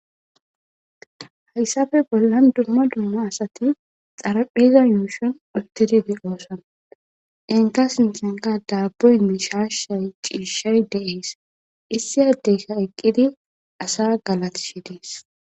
hayssafe bollan dumma dumma asati xarapheza yooshon uttididi oosan enka sinsanka daaboy mishashay ciishay deees issiyadeyka eqqidi asa galati shi dies.